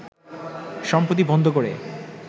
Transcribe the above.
সম্প্রতি বন্ধ করে